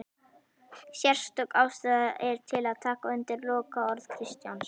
Sérstök ástæða er til að taka undir lokaorð Kristjáns